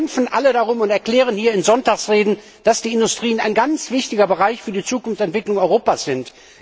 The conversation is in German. Wir kämpfen alle darum und erklären hier in Sonntagsreden, dass die Industrien ein ganz wichtiger Bereich für die Zukunftsentwicklung Europas sind.